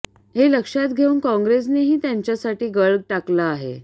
हे लक्षात घेऊन कॉंग्रेसनेही त्यांच्यासाठी गळ टाकला आहे